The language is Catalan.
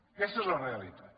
aquesta és la realitat